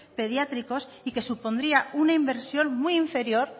pediátricos y que supondrá una inversión muy inferior